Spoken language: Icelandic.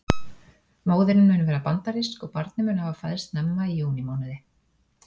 Móðirin mun vera bandarísk og barnið mun hafa fæðst snemma í júní mánuði.